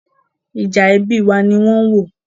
Ìjà ẹbí wa ni wọ́n ń wò.